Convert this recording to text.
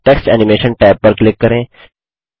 text animation tab पर click करें